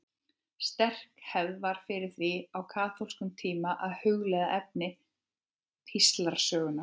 Sterk hefð var fyrir því á kaþólskum tíma að hugleiða efni píslarsögunnar.